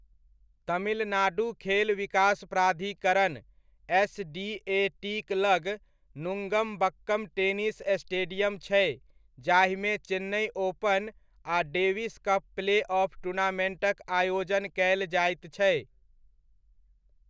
तमिलनाडुक खेल विकास प्राधिकरण, एस.डी.ए.टी'क लग नुङ्गम्बक्कम टेनिस स्टेडियम छै जाहिमे चेन्नइ ओपन आ डेविस कप प्ले ऑफ टूर्नामेन्टक आयोजन कयल जाइत छै।